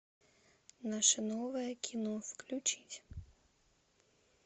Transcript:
наше новое кино включить